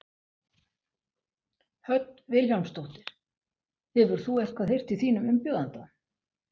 Hödd Vilhjálmsdóttir: Hefur þú eitthvað heyrt í þínum umbjóðanda?